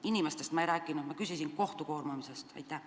Inimestest ma ei rääkinud, ma küsisin kohtu koormamise kohta.